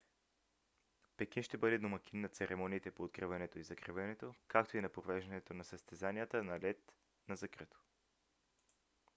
пекин ще бъде домакин на церемониите по откриването и закриването както и на провеждането на съзтезанията на лед на закрито